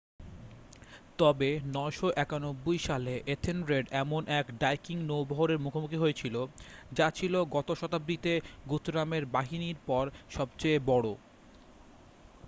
তবে 991 সালে এথেলরেড এমন এক ভাইকিং নৌবহরের মুখোমুখি হয়েছিল যা ছিল গত শতাব্দীতে গুথরামের বাহিনীর পর সবচেয়ে বড়